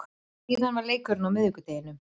Síðan er leikurinn á miðvikudeginum.